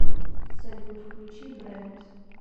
салют включи брэнд